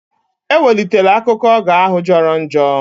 Ewelitela akụkọ ógà ahụ jọrọ njọ!